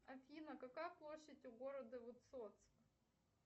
афина какая площадь у города высоцк